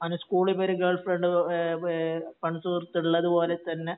Anu school ഇവര് girlfriend ഏ ഏ ഫ്രണ്ട്സ് ഉള്ളതുപോലെ തന്നെ